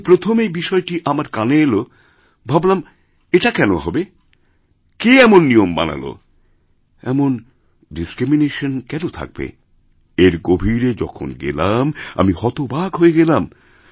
যখন প্রথম এই বিষয়টা আমার কানে এল ভাবলাম এটা কেন হবে কে এমননিয়ম বানালো এমন ডিসক্রিমিনেশন কেন থাকবে এর গভীরে যখন গেলাম আমি হতবাক হয়ে গেলাম